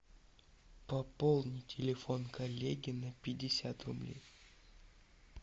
пополнить телефон коллеги на пятьдесят рублей